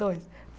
Dois.